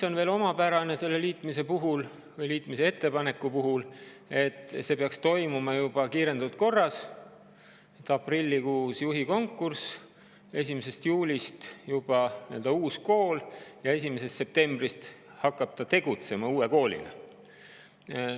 Omapärane selle liitmise puhul või liitmise ettepaneku puhul on veel see, et see peaks toimuma kiirendatud korras: aprillikuus juhi konkurss, 1. juulist juba uus kool ja 1. septembrist hakkab ta tegutsema uue koolina.